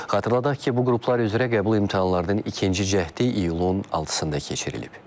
Xatırladaq ki, bu qruplar üzrə qəbul imtahanlarının ikinci cəhdi iyulun 6-sında keçirilib.